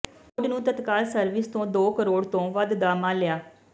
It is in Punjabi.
ਬੋਰਡ ਨੂੰ ਤਤਕਾਲ ਸਰਵਿਸ ਤੋਂ ਦੋ ਕਰੋੜ ਤੋਂ ਵੱਧ ਦਾ ਮਾਲੀਆ